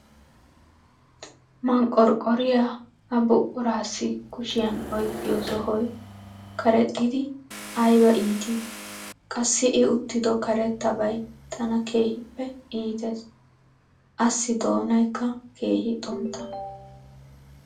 Manqqorqqoriya ha buqquraassi kushiyan oyqqiyo sohoy karexxidi ay iitti, qassi I uttiddo karettabay tana keehippe iittees, assi doonaykka keehi xuntta.